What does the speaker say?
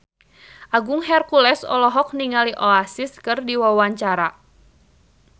Agung Hercules olohok ningali Oasis keur diwawancara